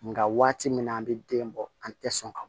Nga waati min na an be den bɔ an tɛ sɔn ka